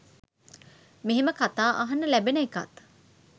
මෙහෙම කතා අහන්න ලැබෙන එකත්